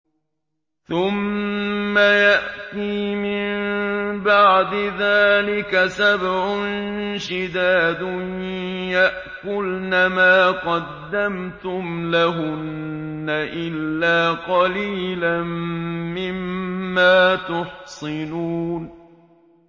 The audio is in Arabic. ثُمَّ يَأْتِي مِن بَعْدِ ذَٰلِكَ سَبْعٌ شِدَادٌ يَأْكُلْنَ مَا قَدَّمْتُمْ لَهُنَّ إِلَّا قَلِيلًا مِّمَّا تُحْصِنُونَ